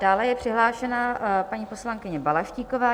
Dále je přihlášena paní poslankyně Balaštíková.